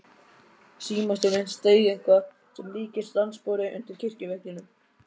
Símstjórinn steig eitthvað sem líktist dansspori undir kirkjuveggnum.